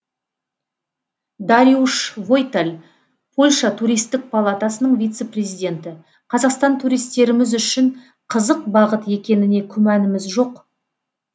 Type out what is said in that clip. дариуш войталь польша туристік палатасының вице президенті қазақстан туристеріміз үшін қызық бағыт екеніне күмәніміз жоқ